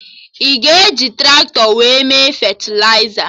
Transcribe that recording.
Ị ga-eji Traktọ wee mee fetịliza?